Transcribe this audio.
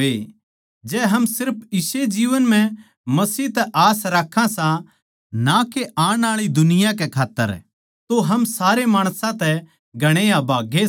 जै हम सिर्फ इस्से जीवन म्ह मसीह तै आस राक्खां सां ना के आण आळी दुनिया कै खात्तर तो हम सारे माणसां तै घणे अभागे सां